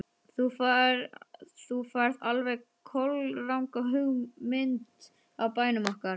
Þú færð alveg kolranga mynd af bænum okkar.